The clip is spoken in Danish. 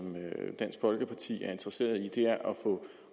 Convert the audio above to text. dansk folkeparti er interesseret i er